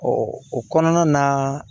o kɔnɔna na